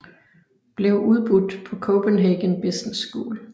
Blev udbudt på Copenhagen Business School